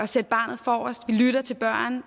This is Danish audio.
sætte barnet forrest vi lytter til børn